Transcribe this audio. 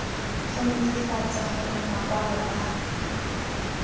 go netefatsa gore makwalo a